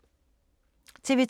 TV 2